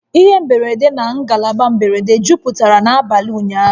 Ihe mberede na ngalaba mberede jupụtara n'abalị ụnyaahụ